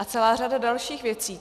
A celá řada dalších věcí.